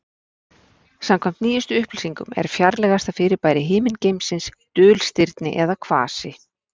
Samkvæmt nýjustu upplýsingum er fjarlægasta fyrirbæri himingeimsins dulstirni eða kvasi.